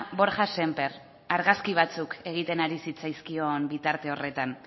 borja sémper argazki batzuk egiten ari zitzaizkion bitarte horretan